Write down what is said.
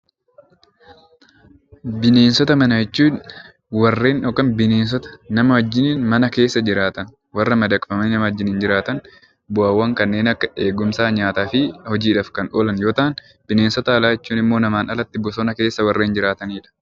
Bineensota manaa jechuun bineensota nama wajjin mana keessa jiraatan warra keessa jiraatan bu'aawwan kanneen akka eegumsaa, nyaataa fi hojiidhaaf kan oolan yommuu ta'an, bineensota alaa jechuun immoo namaan alatti bosona keessa kan jiraataniidha.